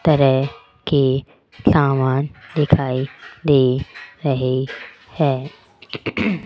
तरह के समान दिखाई दे रहे हैं।